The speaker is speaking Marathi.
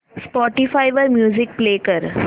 स्पॉटीफाय वर म्युझिक प्ले कर